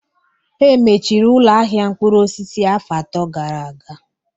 Emechiri ụlọ ahịa mkpụrụ osisi afọ atọ gara aga